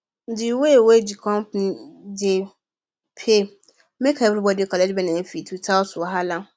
di way wey di company dey pay make everybody collect benefit without wahala